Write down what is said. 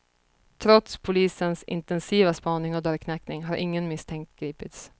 Trots polisens intensiva spaning och dörrknackning har ingen misstänkt gripits.